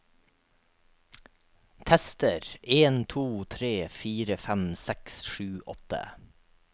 Tester en to tre fire fem seks sju åtte